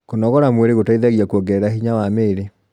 kũnogora mwĩrĩ gũteithagia kuongerera hinya wa miiri